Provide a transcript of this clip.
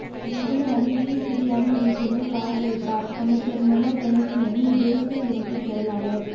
வவுனியாவில் தீக்கிரையான வீட்டினை பார்வையிட்டார் அமைச்சர் மனோகணேசனின் தேசிய இணைப்புச் செயலாளர்